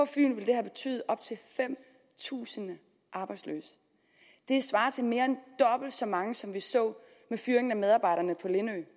fyn ville det have betydet op til fem tusind arbejdsløse det svarer til mere end dobbelt så mange som vi så med fyringen af medarbejderne på lindø